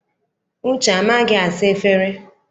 Uche amaghị asa efere?